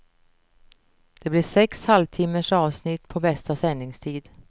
Det blir sex halvtimmes avsnitt på bästa sändningstid.